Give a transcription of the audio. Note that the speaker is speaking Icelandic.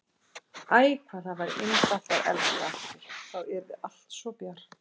Æ, hvað það væri indælt að elska aftur, þá yrði allt svo bjart.